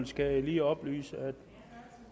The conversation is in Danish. skal jeg lige oplyse at